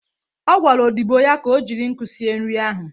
Ọ gwara odịbo ya ka o jiri nkụ sie nri ahụ.